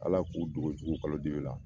Ala k'u dogo jugu kalodibi la